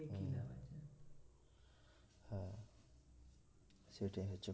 সেটাই হচ্ছে